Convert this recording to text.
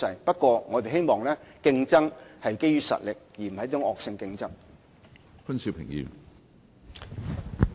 不過，我們希望競爭是基於實力，而不是惡性競爭。